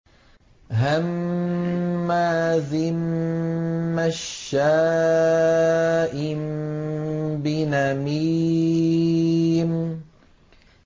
هَمَّازٍ مَّشَّاءٍ بِنَمِيمٍ